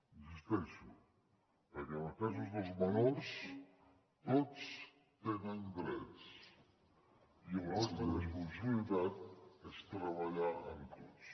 insisteixo que en els casos dels menors tots tenen drets i l’alta responsabilitat és treballar amb tots